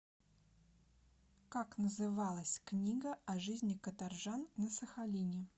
как называлась книга о жизни каторжан на сахалине